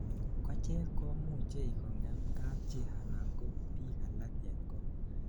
kochek komuchei kongem kapchi anan ko biik alak en kot